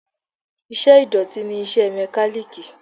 Iṣẹ́ ìdọ̀tí ni iṣẹ́ Mẹ́kálíkì.